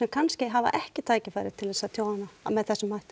kannski hafa ekki tækifæri til að tjá hana með þessum hætti